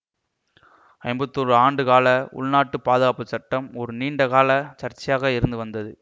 ஐம்பத்தி ஓரு ஆண்டு கால உள்நாட்டுப் பாதுகாப்பு சட்டம் ஒரு நீண்ட கால சர்ச்சையாக இருந்து வந்தது